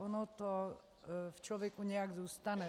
Ono to v člověku nějak zůstane.